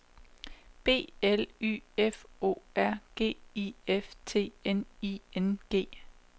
B L Y F O R G I F T N I N G